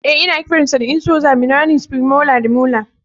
Eh ana kiran sa da incisora maninies, premolar da molar.